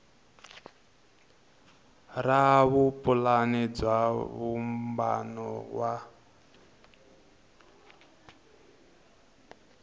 ra vupulani bya vumbano wa